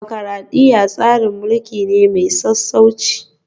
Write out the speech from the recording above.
Dimokuradiyya tsarin mulki ne mai sassauci